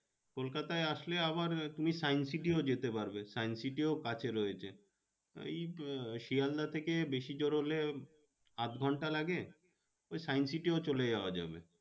কলকাতায় আসলে আবার তুমি science city ও যেতে পারবে science city ও কাছে রয়েছে। ওই আহ শিয়ালদা থেকে বেশি জোর হলে আধ ঘন্টা লাগে ওই science city ও চলে যাওয়া যাবে।